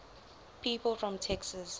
people from texas